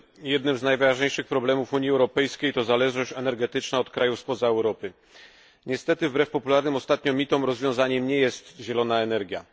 Jednym z najważniejszych problemów Unii Europejskiej jest zależność energetyczna od krajów spoza Europy. Niestety, wbrew popularnym ostatnio mitom rozwiązaniem nie jest zielona energia.